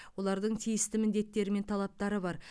олардың тиісті міндеттері мен талаптары бар